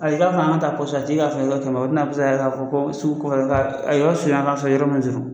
Ayi k'an fɔ an kataa la i bi na ko sugu kɔfɛla don a ye yɔrɔ surunya k'a sɔrɔ yɔrɔ mɛ surun.